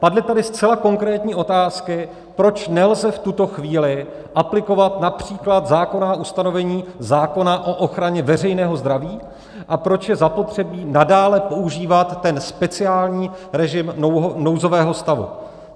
Padly tady zcela konkrétní otázky, proč nelze v tuto chvíli aplikovat například zákonná ustanovení zákona o ochraně veřejného zdraví a proč je zapotřebí nadále používat ten speciální režim nouzového stavu.